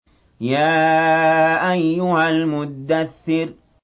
يَا أَيُّهَا الْمُدَّثِّرُ